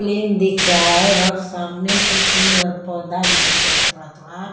Plane दिख रहा है और सामने से पेड़ और पौधा भी दिख रहा है थोड़ा थोड़ा।